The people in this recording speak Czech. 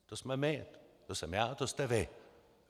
To jsme my, to jsem já, to jste vy.